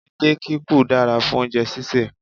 Edé kikù dára fún oúnjẹ sísè